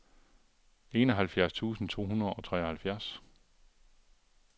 enoghalvfjerds tusind to hundrede og treoghalvfjerds